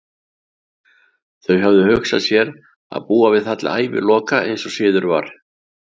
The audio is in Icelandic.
Þau höfðu hugsað sér að búa við það til æviloka, eins og siður var.